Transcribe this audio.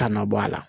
Kana bɔ a la